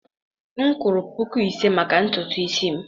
m kwụrụ puku ise maka ntutu isi m.